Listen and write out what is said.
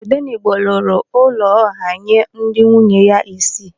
Odenigbo rụrụ ụlọ ọha nye ndị nwunye ya isii.